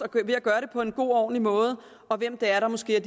ved at gøre det på en god og ordentlig måde og hvem det er der måske er